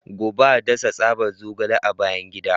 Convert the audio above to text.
Gobe ​​a dasa tsaban zogale a bayan gida.